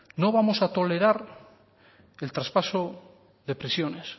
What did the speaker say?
no vamos a tolerar el traspaso de prisiones